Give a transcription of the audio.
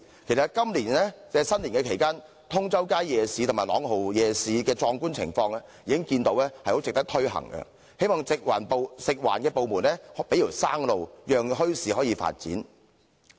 其實，今年新年期間，通州街夜市和朗豪夜市的壯觀情況，已足見值得推行，希望食環部門給一條生路，讓墟市可以發展。